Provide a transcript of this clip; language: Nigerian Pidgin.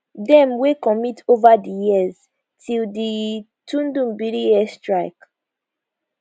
dem wey commit ova di years till di tudunbiri airstrike